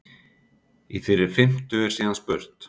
Í þeirri fimmtu er síðan spurt?